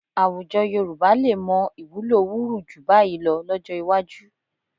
Àwùjọ Yorùbá lè mọ ìwúlò wurù jù bá yìí lọ lọ́jọ́ iwájú